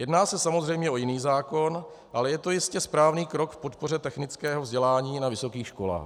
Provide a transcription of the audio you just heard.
Jedná se samozřejmě o jiný zákon, ale je to jistě správný krok k podpoře technického vzdělání na vysokých školách.